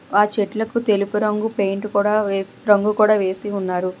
ఆ చెట్లకు తెలుపు రంగు పెయింట్ కూడా వేసి ఉన్నారు.